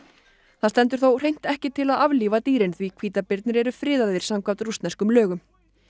það stendur þó hreint ekki til að aflífa dýrin því hvítabirnir eru friðaðir samkvæmt rússneskum lögum